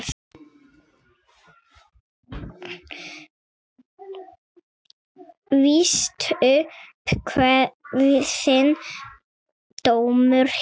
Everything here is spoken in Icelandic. Víst upp kveðinn dómur hér.